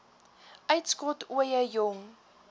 uitskot ooie jong